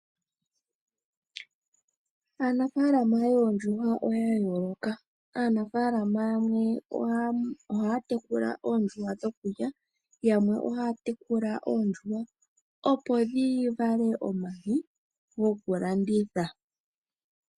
Aanafaalama yoondjuhwa oya yooloka. Aanafaalama yamwe ohaya tekula oondjuhwa dhokulya, yo yamwe ohaya tekula oondjuhwa opo dhivale omayi gokulanditha.